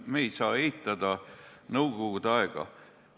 Me ei saa eitada nõukogude aega.